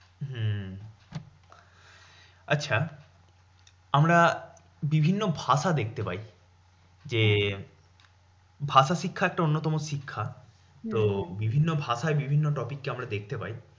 হম আচ্ছা আমরা বিভিন্ন ভাষা দেখতে পাই। যে ভাষা শিক্ষা একটা অন্যতম শিক্ষা। তো বিভিন্ন ভায়ায় বিভিন্ন topic কে আমরা দেখতে পাই।